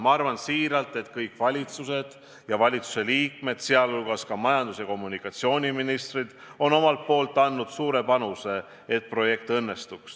Ma arvan siiralt, et kõik valitsused ja valitsuste liikmed, sh majandus- ja kommunikatsiooniministrid, on omalt poolt andnud suure panuse, et projekt õnnestuks.